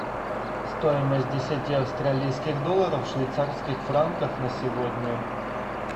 стоимость десяти австралийских долларов в швейцарских франках на сегодня